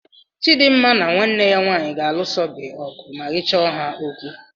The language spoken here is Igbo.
Chidimma na nwanne ya nwaanyị ga-alụsa gị ọgụ ma ị chọọ ha okwu.